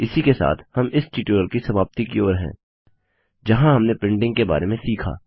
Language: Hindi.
इसी के साथ हम इस ट्यूटोरियल की समाप्ति की ओर हैं जहाँ हमने प्रिंटिंग के बारे में सीखा